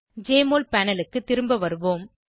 JMOL panel க்கு திரும்ப வருவோம்